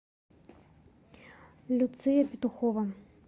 люция петухова